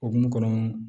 Okumu kɔnɔ